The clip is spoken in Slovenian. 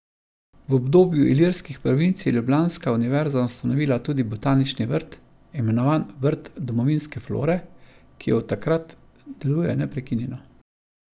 V obdobju Ilirskih provinc je ljubljanska univerza ustanovila tudi Botanični vrt, imenovan Vrt domovinske flore, ki od takrat deluje neprekinjeno.